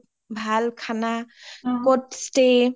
ভাল খানা, ক’ত stay